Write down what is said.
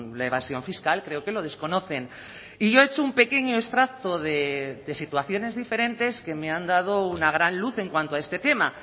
la evasión fiscal creo que lo desconocen y yo he hecho un pequeño extracto de situaciones diferentes que me han dado una gran luz en cuanto a este tema